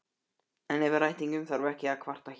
En yfir ættingjum þarf ekki að kvarta hér.